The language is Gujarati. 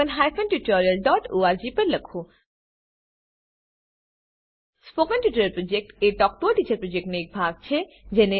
spoken tutorial project talk to a teacher પ્રોજેક્ટનો એક ભાગ છે